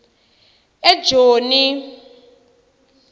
ejoni